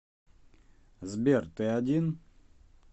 сбер ты один